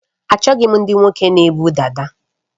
Achọghị m ndị nwoke na ebu dada